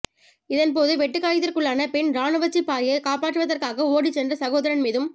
இதன் போது வெட்டுக் காயத்திற்குள்ளான பெண் இராணுவச்சிப்பாயை காப்பாற்றுவதற்காக ஓடிச் சென்ற சகோதரன் மீதும்